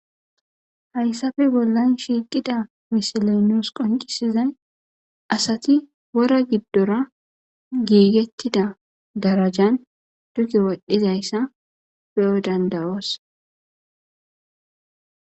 Hayssafe bollan shiiqida misilenos qoncisizay asati pora giddora giigettida darajan dugi wodhizayssa pe7o dandayoos.